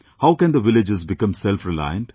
How can the villages become selfreliant